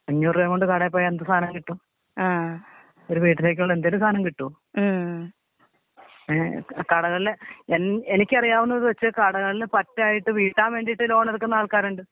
അഞ്ഞൂറ് രൂപേയും കൊണ്ട് കടെ പോയ എന്ത് സാനം കിട്ടും. ഒരു വീട്ടിലേക്കുള്ള എന്തെങ്കിലും സാനം കിട്ടോ. ഏ കടകൾ ല് എൻ എനിക്കറിയാവുന്നത് വെച്ച് കടകൾ ല് പറ്റായിട്ട് വീട്ടാൻ വേണ്ടീട്ട് ലോൺ എടുക്കുന്ന ആൾക്കാരുണ്ട്.